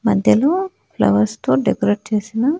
మధ్యలో ఫ్లవర్స్ తో డెకరేట్ చేసిన--